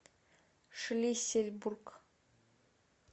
шлиссельбург